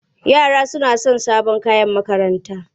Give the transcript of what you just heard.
Yara suna son sabon kayan makaranta.